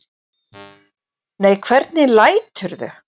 Nei, hvernig læturðu!